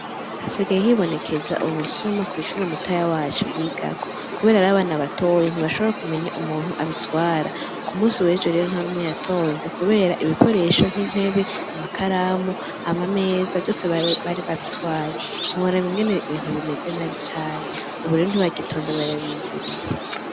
Hasigaye hibonekeza ubusuma kwishuri mutoya wacu yiga ko kubera ari abana batoyi ntibashobora kumenya umuntu abitwara ku munsi wejo ntanumwe yatonze kubera ibikoresho nki ntebe amakaramu , amameza vyose bari babitwaye ntiworaba ingene ibintu bimeze nabi cane ubu rero ntibagitonda bararindiriye.